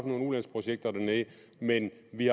nogle ulandsprojekter dernede men vi